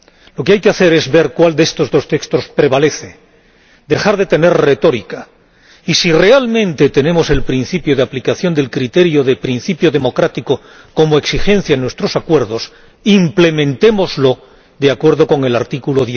Lo que hay que hacer es ver cuál de estos dos textos prevalece, dejar de tener retórica y si realmente tenemos el principio de aplicación del criterio de principio democrático como exigencia en nuestros acuerdos, implementémoslo de acuerdo con el artículo